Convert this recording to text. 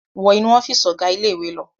Wọ inú ọ́fíísì ọ̀gá ilé-ìwé lọ!